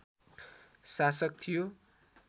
शासक थियो